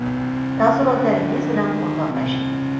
Taassurotlaringiz bilan o‘rtoqlashing!